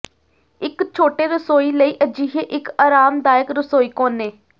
ਇੱਕ ਛੋਟੇ ਰਸੋਈ ਲਈ ਅਜਿਹੇ ਇੱਕ ਆਰਾਮਦਾਇਕ ਰਸੋਈ ਕੋਨੇ